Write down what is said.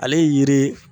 Ale ye yiri ye